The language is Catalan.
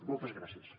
moltes gràcies